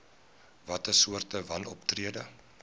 watter soorte wanoptrede